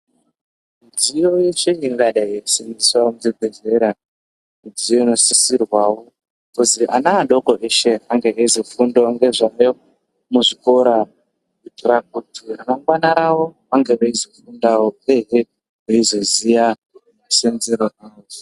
Mudziyo yeshe ingadai yeisenzeswa muzvibhehlera zvinosisirwawo kuti ana adoko eshe anenge eyizofundawo ngezvayo muzvikora kuitira kuti ramangwana ravo vanenge veizofundawo veizoziya musenzero wazvo.